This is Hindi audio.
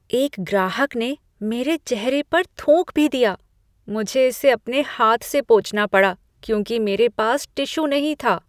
एक ग्राहक ने मेरे चेहरे पर थूक भी दिया। मुझे इसे अपने हाथ से पोंछना पड़ा, क्योंकि मेरे पास टिश्यू नहीं था।